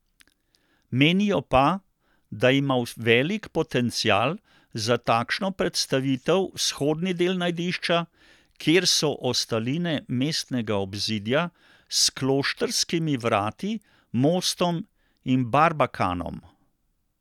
Menijo pa, da ima velik potencial za takšno predstavitev vzhodni del najdišča, kjer so ostaline mestnega obzidja s kloštrskimi vrati, mostom in barbakanom.